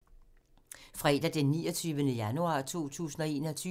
Fredag d. 29. januar 2021